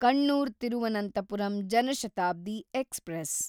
Kannur Thiruvananthapuram Jan Shatabdi express